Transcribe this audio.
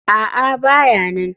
A'a, ba ya nan.